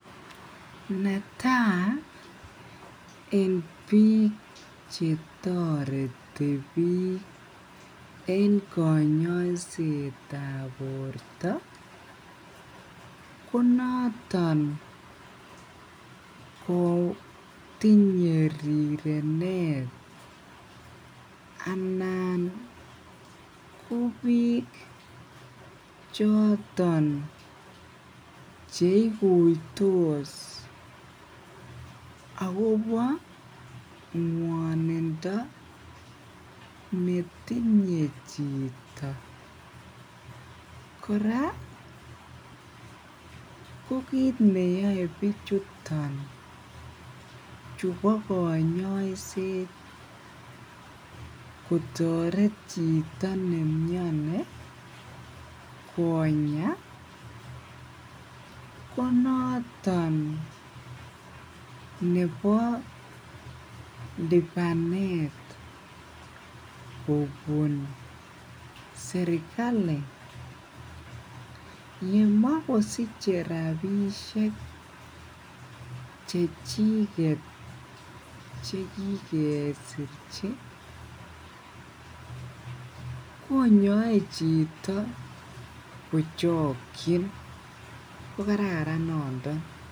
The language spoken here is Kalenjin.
netai en bik chetoreti bik , en kanyaiset tab borta ko naton kotinye rirenet anan ko bik choton cheikuitos akobo nguannindo netinye chito kora ko kit neyae bichuton chubo kanyaiset kotaret chito nemiani Konya ko naton nebo libanetab kobun serkali yemakosiche rabisiek ih Chechiket ih chekikesirchi konyae chito kokraran noto.